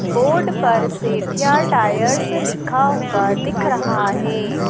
Board पर Sethia tyres लिखा हुआ दिख रहा हैं।